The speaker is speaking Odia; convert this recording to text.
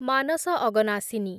ମାନସ ଅଗନାଶିନୀ